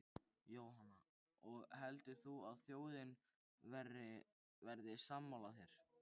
Jóhanna: Og heldur þú að þjóðin verði sammála þér?